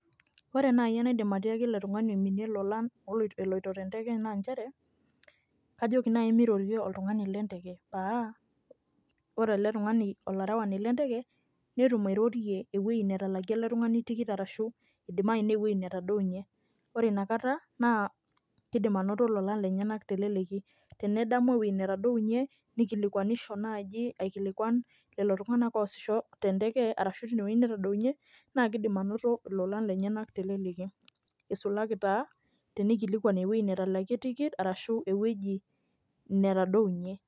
Ore nai enaidim atiaki ele tung'ani oiminie lolan eloito tenteke na njere, kajoki nai mirorie oltung'ani lenteke. Paa, ore ele tung'ani olarewani lenteke, netum airorie ewueji netalakie ele tung'ani tikit arashu, idimayu newoi netadounye. Ore inakata, naa kidim anoto lolan lenyanak teleleki. Tenedamu ewoi netadounye, nikilikwanisho naji aikilikwan lelo tung'anak oosisho tenteke arashu tinewoi netodounye, na kiidim anoto ilolan lenyanak teleleki. Isulaki taa, tenikilikwan ewoi netalakie tikit, arashu ewueji netadounye.